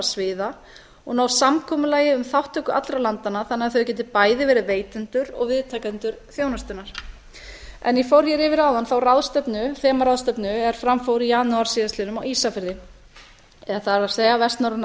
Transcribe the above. sviða og ná samkomulagi um þátttöku allra landanna þannig að þau geti bæði verið veitendur og viðtakendur þjónustunnar ég fór hér yfir áðan þá ráðstefnu þemaráðstefnu er fram fór í janúar síðastliðnum á ísafirði það er að vestnorræna